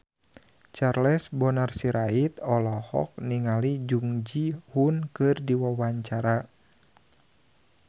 Charles Bonar Sirait olohok ningali Jung Ji Hoon keur diwawancara